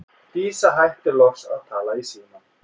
Dísa hættir loks að tala í símann.